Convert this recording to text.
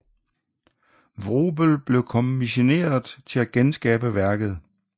Vrubel blev kommisioneret til at genskabe værket